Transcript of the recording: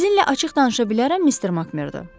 Sizinlə açıq danışa bilərəm, Mister Makmerdo?